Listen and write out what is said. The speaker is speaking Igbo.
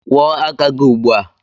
Kwụọ aka gị ugbu a!